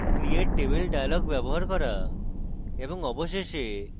create table dialog ব্যবহার করা এবং অবশেষে